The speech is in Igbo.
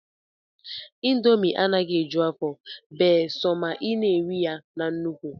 indomi anaghị eju afọ bee sọ ma ị na-eri ya na nnukwu